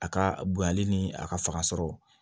A ka bonyali ni a ka faga sɔrɔ